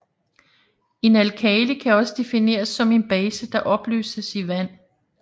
En alkali kan også defineres som en base der opløses i vand